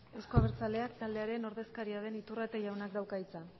euzko abertzaleak taldearen ordezkaria den iturrate jaunak dauka hitza